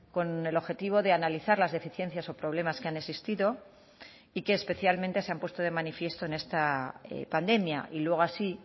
con el objetivo de analizar las deficiencias o problemas que han existido y que especialmente se han puesto de manifiesto en esta pandemia y luego así